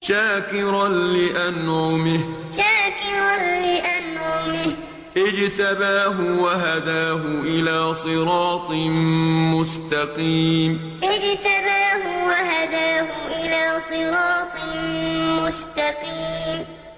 شَاكِرًا لِّأَنْعُمِهِ ۚ اجْتَبَاهُ وَهَدَاهُ إِلَىٰ صِرَاطٍ مُّسْتَقِيمٍ شَاكِرًا لِّأَنْعُمِهِ ۚ اجْتَبَاهُ وَهَدَاهُ إِلَىٰ صِرَاطٍ مُّسْتَقِيمٍ